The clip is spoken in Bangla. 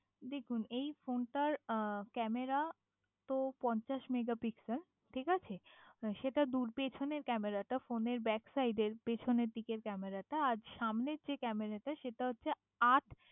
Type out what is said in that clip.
দেখুন এই ফোনটার ক্যামেরা তো পঞ্চাশ মেগা পিক্সেল ঠিক আছে সেটা দূর পেছনের ক্যামেরাটা ফোনের ব্যাক সাইডের পেছনের দিকের ক্যামেরাটা আর সামনের দিকের ক্যামেরাটা সেটা হচ্ছে আট